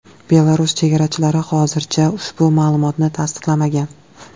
Belarus chegarachilari hozircha ushbu ma’lumotni tasdiqlamagan.